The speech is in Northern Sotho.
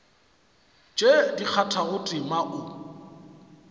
tše di kgathago tema o